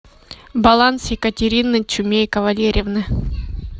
баланс екатерины чумейко валерьевны